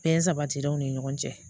Bɛn sabatilen ni ɲɔgɔn cɛ